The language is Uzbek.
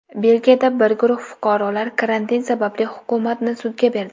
Belgiyada bir guruh fuqarolar karantin sababli hukumatni sudga berdi.